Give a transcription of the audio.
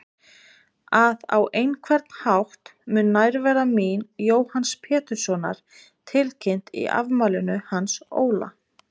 . að á einhvern hátt mun nærvera mín Jóhanns Péturssonar tilkynnt í afmælinu hans Óla.